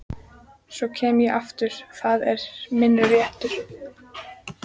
Svo kem ég aftur, það er minn réttur.